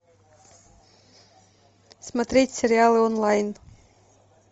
смотреть сериалы онлайн